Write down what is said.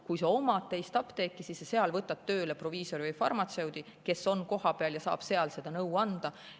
Kui sa omad teist apteeki, siis sa seal võtad tööle proviisori või farmatseudi, kes on kohapeal ja saab seal nõu anda.